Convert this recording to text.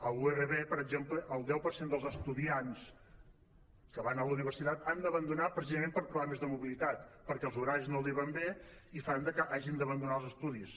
a la urv per exemple el deu per cent dels estudiants que van a la universitat han d’abandonar precisament per problemes de mobilitat perquè els horaris no els van bé i fa que hagin d’abandonar els estudis